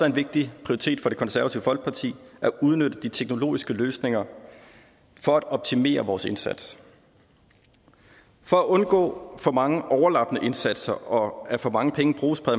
en vigtig prioritet for det konservative folkeparti at udnytte de teknologiske løsninger for at optimere vores indsats for at undgå for mange overlappende indsatser og at for mange penge bruges på